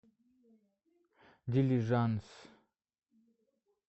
дилижанс